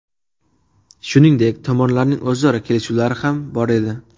Shuningdek, tomonlarning o‘zaro kelishuvlari ham bor edi.